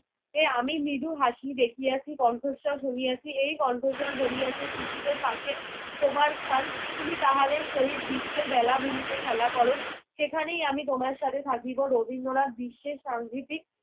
এই আমি মৃদু হাসি দেখিয়াছি, কণ্ঠস্বর শুনিয়াছি। এই কন্ঠস্বর বলিয়াছে শিশুদের পাশে তোমার স্থান। তুমি তাহাদের সহিত বিশ্বের বেলাভূমিতে খেলা কর, সেখানেই আমি তোমার সাথে থাকিব। রবীন্দ্রনাথ বিশ্বের সাংঘিতিক